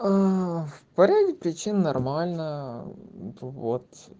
по ряде причин нормально вот